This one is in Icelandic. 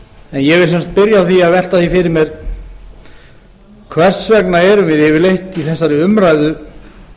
ég vil sem sagt byrja á að velta því fyrir mér hvers vegna erum yfirleitt í þessari umræðu